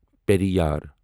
Periyar